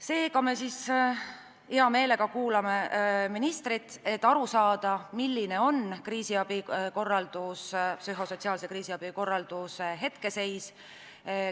Seega me siis hea meelega kuulame ministrit, et teada saada, milline on psühhosotsiaalse kriisiabi korralduse hetkeseis.